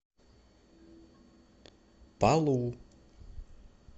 палу